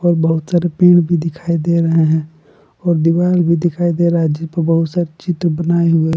बहुत सारे पेड़ भी दिखाई दे रहे हैं और दीवार भी दिखाई दे रहा है जिसपे बहुत सारे चित्र बनाए हुए--